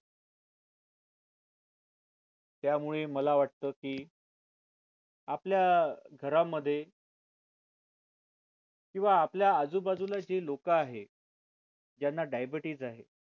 त्यामुळे मला वाटतं की आपल्या घरामध्ये किंवा आपल्या आजूबाजूला जे लोक आहे ज्यांना diabetes आहे